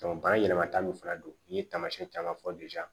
bana yɛlɛmata min fana don n'i ye taamasiyɛn caman fɔ